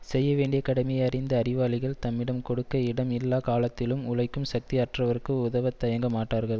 செய்யவேண்டிய கடமையை அறிந்த அறிவாளிகள் தம்மிடம் கொடுக்க இடம் இல்லா காலத்திலும் உழைக்கும் சக்தி அற்றவர்க்கு உதவ தயங்க மாட்டார்கள்